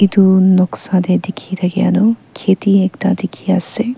etu noksa teh dikhi thakia tu kheti ekta dikhi ase.